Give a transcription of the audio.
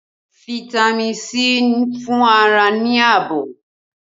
Fitami sii ń fún ara ní ààbò